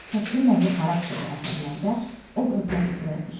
Təsviri nəqli xarakterli əsərlərdə obrazlar üzrə iş.